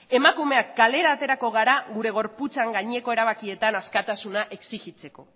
emakumeak kalera aterako gara gure gorputzaren gaineko erabakietan askatasuna exigitzeko